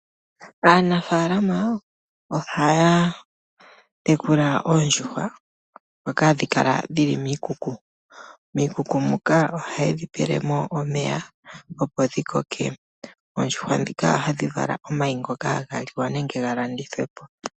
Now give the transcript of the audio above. Aanafaalama ohaya tekula oondjuhwa dhoka handhi kala miikuku. Miikuku muka ohaye dhipelemo omeya opo dhikoke. Oondjuhwa dhika ohadhi vala omayi ngoka haga liwa nenge galandithwepo.